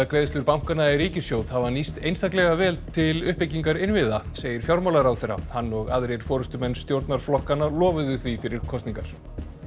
greiðslur bankanna í ríkissjóð hafa nýst einstaklega vel til uppbyggingar innviða segir fjármálaráðherra hann og aðrir forystumenn stjórnarflokkanna lofuðu því fyrir kosningar